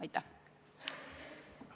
Aitäh!